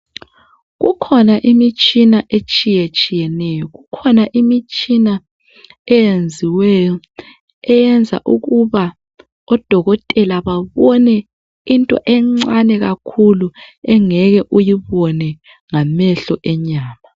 Kukhona imitshina etshiyetshiyeneyo, kukhona imitshina eyenziweyo eyenza ukuba odokotela babone into encane kakhulu engeke uyibone ngamehlo enyama